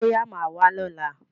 Bọ́yá máà wá lọ́la.